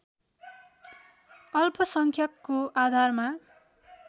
अल्पसंख्यकको आधारमा